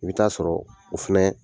I bi taa sɔrɔ o fɛnɛ